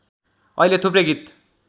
अहिले थुप्रै गीत